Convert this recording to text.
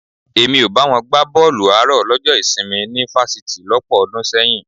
Èmi ò bá wọn gbá bọ́ọ̀lù àárọ̀ lọ́jọ́ ìsinmi ní fásitì lọ́pọ̀ ọdún sẹ́yìn